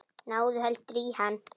Náðu heldur í hann.